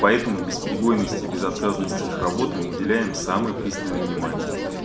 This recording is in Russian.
поэтому бесперебойности безотказности их работы мы уделяем самое пристальное внимание